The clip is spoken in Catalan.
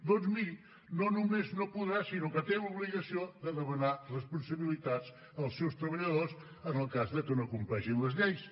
doncs miri no només podrà sinó que té l’obligació de demanar responsabilitats als seus treballadors en el cas de que no compleixin les lleis